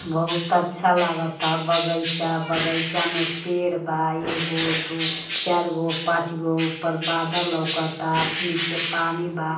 बहुत अच्छा लागता बगईचा बगईचा में पेड़ बा एगो दुगो चार गो पांच गो ऊपर बादल लऊकता नीचे पानी बा।